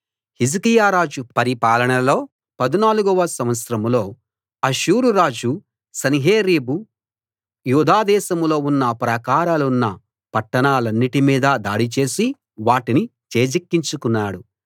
హిజ్కియా రాజు పరిపాలనలో 14 వ సంవత్సరంలో అష్షూరురాజు సన్హెరీబు యూదా దేశంలో ఉన్న ప్రాకారాలున్న పట్టాణాలన్నిటి మీద దాడి చేసి వాటిని చేజిక్కించుకున్నాడు